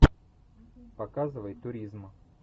показывай туризм